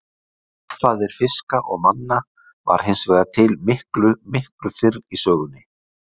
Forfaðir fiska og manna var hins vegar til miklu, miklu fyrr í sögunni.